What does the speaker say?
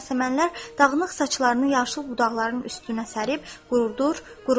Yasəmənlər dağınıq saçlarını yaşıl budaqların üstünə sərib qurudur, qurudur.